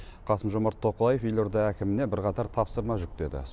қасым жомарт тоқаев елорда әкіміне бірқатар тапсырма жүктеді